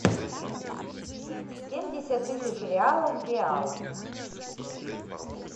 семьдесят тысяч реалов в реалах